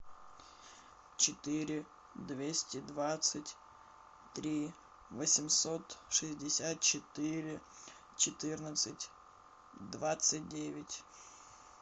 четыре двести двадцать три восемьсот шестьдесят четыре четырнадцать двадцать девять